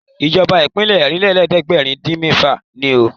ìjọba ìbílẹ̀ Ọ̀rìnlélẹ̀ẹ́dẹ́gbèrin-dín-mẹ́fà ni ó